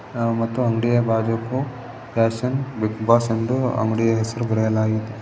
ಮತ್ತು ಅಂಗಡಿಯ ಬಾಜುಕು ಪ್ಯಾಷನ್ ಬಿಗ್ ಬಾಸ್ ಎಂದು ಅಂಗಡಿಯ ಹೆಸರು ಬರೆಯಲಾಗಿದೆ.